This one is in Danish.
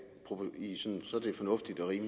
når jeg